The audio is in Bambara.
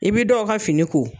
I bi dɔw ka fini ko.